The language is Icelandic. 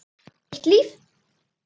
Eitt líf.